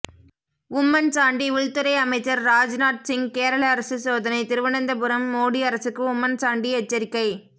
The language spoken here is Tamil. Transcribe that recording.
உம்மன் சாண்டி உள்துறை அமைச்சர் ராஜ்நாத் சிங் கேரள அரசு சோதனை திருவனந்தபுரம் மோடி அரசுக்கு உம்மன்சாண்டி எச்சரிக்கை